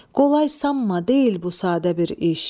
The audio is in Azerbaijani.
Qolay sanma deyil bu sadə bir iş.